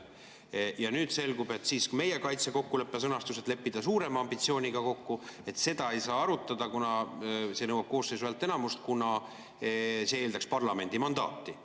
Ja nüüd selgub, et meie kaitsekokkuleppe sõnastust, et leppida suurema ambitsiooniga kokku, ei saa arutada, kuna see nõuab koosseisu häälteenamust, sest see eeldaks parlamendi mandaati.